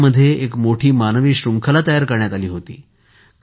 गोव्यामध्ये एक मोठी मानवी शृंखला तयार करण्यात आली होती